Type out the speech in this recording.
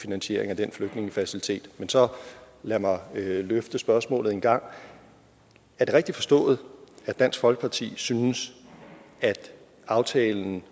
finansiering af den flygtningefacilitet men så lad mig løfte spørgsmålet en gang er det rigtigt forstået at dansk folkeparti synes at aftalen